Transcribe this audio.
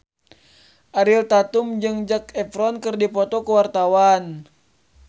Ariel Tatum jeung Zac Efron keur dipoto ku wartawan